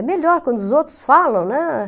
É melhor quando os outros falam, né?